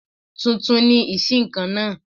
Tuntun ni ìṣíǹkan náà